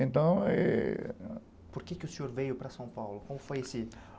Então eh... Por que o senhor veio para São Paulo? Como foi esse